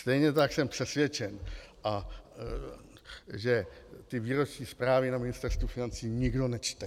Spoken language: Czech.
Stejně tak jsem přesvědčen, že ty výroční zprávy na Ministerstvu financí nikdo nečte.